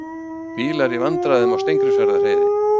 Bílar í vandræðum á Steingrímsfjarðarheiði